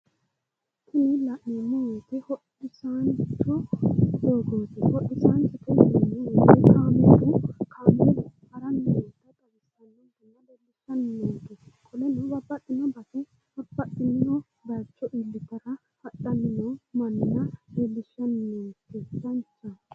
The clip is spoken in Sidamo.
tini la'neemmo woyiite hodhisaancho doogooti hodhisaanchote yineemmo woyiite kaameelu haranni noota xawisannonke qoleno babbaxino base babbaxino bayicho iillitara hadhanni noo manna leellishshannonke danchaho.